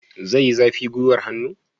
Zai yi zafi gwiwar hannu?